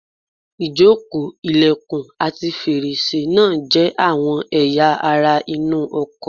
Ìjókòó, ilẹ̀kùn, ati fèrèsé náà jẹ́ àwọn ẹ̀yà ara inú ọkọ̀